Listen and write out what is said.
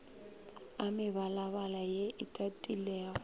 a mebalabala ye e tagilego